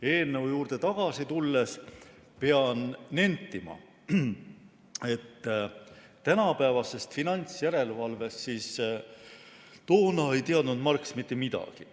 Eelnõu juurde tagasi tulles pean nentima, et tänapäevasest finantsjärelevalvest ei teadnud Marx mitte midagi.